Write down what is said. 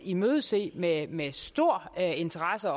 imødese med med stor interesse